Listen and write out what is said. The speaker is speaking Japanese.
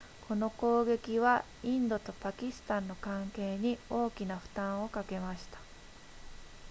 この攻撃はインドとパキスタンの関係に大きな負担をかけました